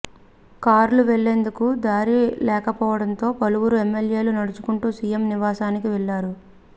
కార్లు వెళ్లేందుకు దారి లేకపోవడంతో పలువురు ఎమ్మెల్యేలు నడుచుకుంటూ సీఎం నివాసానికి వెళ్లారు